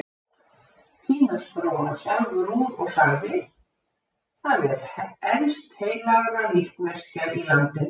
Því næst dró hann sjálfur úr og sagði:-Það er elst heilagra líkneskja í landinu.